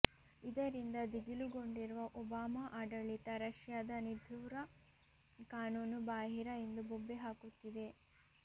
ಇದರಿಂದ ದಿಗಿಲುಗೊಂಡಿರುವ ಒಬಾಮ ಆಡಳಿತ ರಶ್ಯದ ನಿದುಾರ್ರ ಕಾನೂನು ಬಾಹಿರ ಎಂದು ಬೊಬ್ಬೆ ಹಾಕುತ್ತಿದೆ